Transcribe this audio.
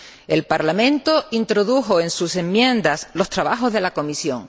El Parlamento introdujo en sus enmiendas los trabajos de la Comisión.